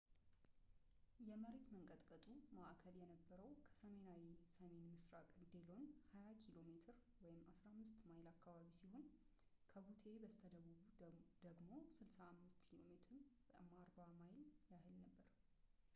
የመሬት መንቀጥቀጡ ማእከል የነበረው፣ ከሰሜናዊ-ሰሜንምስራቅ ዲሎን 20 ኪ.ሜ 15 ማይል አካባቢ ሲሆን ከቡቴ በስተደቡብ ደግሞ 65 ኪ.ሜ 40 ማይል ያህል ነበር